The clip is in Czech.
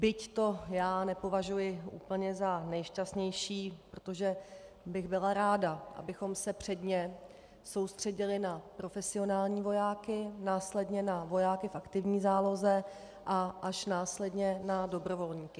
Byť to já nepovažuji úplně za nejšťastnější, protože bych byla ráda, abychom se předně soustředili na profesionální vojáky, následně na vojáky v aktivní záloze a až následně na dobrovolníky.